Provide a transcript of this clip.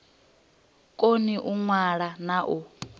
koni u ṅwala na u